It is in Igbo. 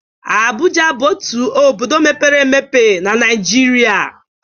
Abụja bụ otu obodo mepere emepe na Naịjịrịa..